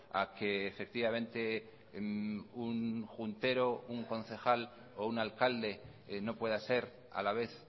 a que efectivamente un juntero un concejal o un alcalde no pueda ser a la vez